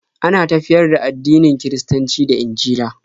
Ana tafiyar da addinin Kiristanci da Injila